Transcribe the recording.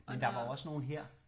Men der var jo også nogle her